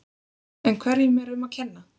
En hverju er um að kenna?